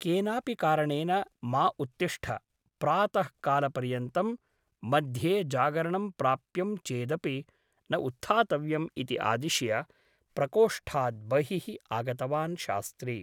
केनापि कारणेन मा उत्तिष्ठ प्रातः कालपर्यन्तम् मध्ये जागरणं प्राप्तं चेदपि न उत्थातव्यम् इति आदिश्य प्रकोष्ठात् बहिः आगतवान् शास्त्री ।